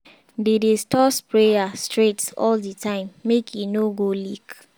dey dey store sprayer straight all the time make e no go leak.